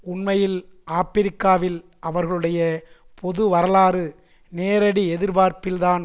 உண்மையில் ஆபிரிக்காவில் அவர்களுடைய பொது வரலாறு நேரடி எதிர்பார்ப்பில்தான்